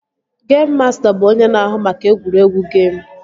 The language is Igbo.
Geim masta bụ onye na-ahụ maka egwuregwu geim